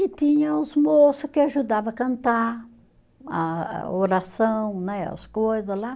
E tinha os moço que ajudavam a cantar, a a oração né, as coisas lá.